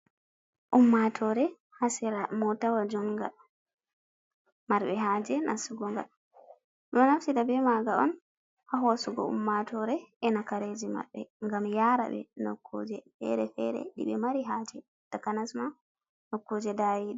Ummatore hasira motawa junga, marɓe haje nasugo nga do nafsida be maga on ha hosugo ummatore ena kareji maɓɓe ngam yara ɓe nokkuje fere-fere ɗiɓe mari haje takanasma nokkuje dayiɗe.